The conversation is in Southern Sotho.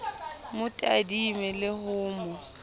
mo tadime le ho mo